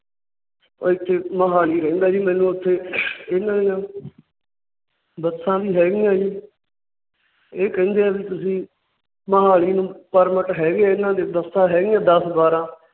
ਇੱਥੇ ਮੋਹਾਲੀ ਰਹਿੰਦਾ ਜੀ। ਮੈਨੂੰ ਇੱਥੇ ਇਹਨਾਂ ਦੀਆ ਬੱਸਾਂ ਵੀ ਹੈ ਗਈਆਂ ਜੀ ਇਹ ਕਹਿੰਦੇ ਵਹਿ ਤੁਸੀਂ ਮੋਹਾਲੀ ਨੂੰ permit ਹੈ ਗੇ ਇਹਨਾਂ ਦੇ ਬੱਸਾਂ ਹੈ ਗਈਆਂ ਦੱਸ ਬਾਰਹ